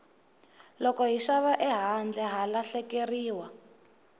loko hi xava ehandle ha lahlekeriwa